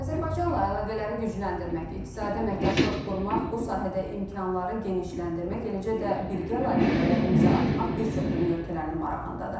Azərbaycanla əlaqələri gücləndirmək, iqtisadi əməkdaşlıq qurmaq, bu sahədə imkanları genişləndirmək, eləcə də birgə layihələrə imza atmaq bir çox dünya ölkələrinin marağındadır.